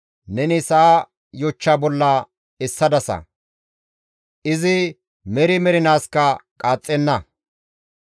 Neni sa7a yochcha bolla essadasa; izi meri mernaaskka qaaxxenna.